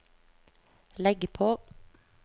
legg på